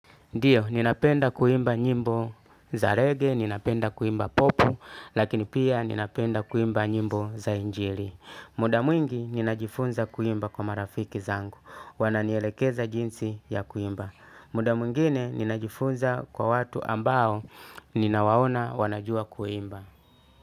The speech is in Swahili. Ndiyo, ninapenda kuimba nyimbo za rege, ninapenda kuimba popu, lakini pia ninapenda kuimba nyimbo za injili. Muda mwingi ninajifunza kuimba kwa marafiki zangu, wananielekeza jinsi ya kuimba. Muda mwingine ninajifunza kwa watu ambao ninawaona wanajua kuimba.